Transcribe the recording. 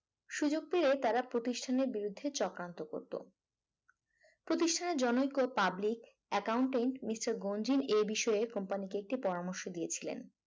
সুযোগ পেলেই তারা প্রতিষ্ঠানের বিরুদ্ধে চক্রান্ত করত প্রতিষ্ঠানের জনয়িক ও public accountant মিস্টার গঞ্জিন এই বিষয়ে একটি company কে পরামর্শ দিয়েছেন